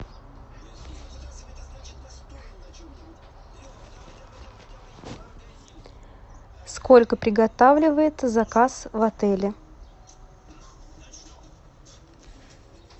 сколько приготавливается заказ в отеле